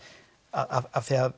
af því að